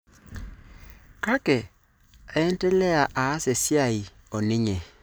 Kake aendelea aas esiai oninye.